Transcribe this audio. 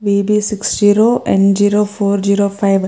A B six zero M zero four zero five --